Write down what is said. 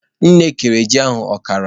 Nne kere ji ahụ ọkara.